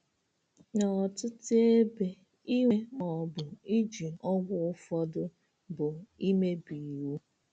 N’ọtụtụ ebe, ịnwe ma ọ bụ iji ọgwụ ụfọdụ bụ imebi iwu.